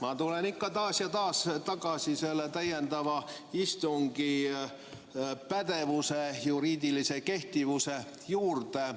Ma tulen ikka taas ja taas tagasi selle täiendava istungi pädevuse, juriidilise kehtivuse juurde.